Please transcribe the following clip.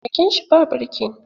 Keken shi ba birki.